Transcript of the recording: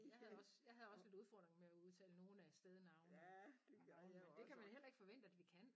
Jeg havde også jeg havde også lidt udfordringer med at udtale nogle af stednavnene men det kan man heller ikke forvente at vi kan